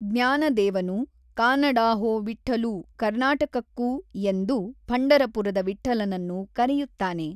ಜ್ಞಾನದೇವನು ಕಾನಡಾ ಹೋ ವಿಠ್ಠಲೂ ಕರ್ನಾಟಕಕ್ಕೂ ಎಂದು ಪಂಢರಪುರದ ವಿಟ್ಠಲನನ್ನು ಕರೆಯುತ್ತಾನೆ.